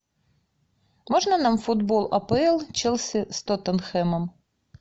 можно нам футбол апл челси с тоттенхэмом